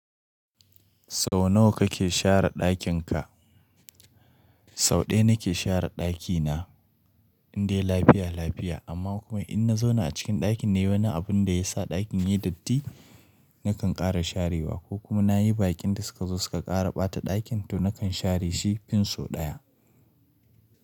Sau nawa kake share ɗakin ka? Sau ɗaya na ke share ɗakina in dai lafiya lafiya amma kuma in na zauna a cikin ɗakin ne wani abun da ya sa ɗakin ya yi datti, na kan ƙara sharewa ko kuma na yi bakin da suka zo suka ƙara ɓata ɗakin to na kan share shi fin sau ɗaya.